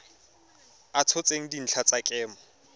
a tshotseng dintlha tsa kemo